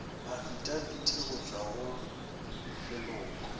afitafiti go tšwa go leloko